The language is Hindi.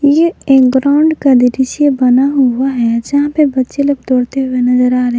ये एक ग्राउंड का दृश्य बना हुआ है जहां पे बच्चे लोग दौड़ते हुए नजर आ रहे हैं।